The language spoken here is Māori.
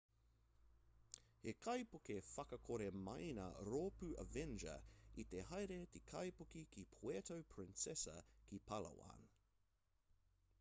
he kaipuke whakakore maina rōpū avenger i te haere te kaipuke ki puerto princesa ki palawan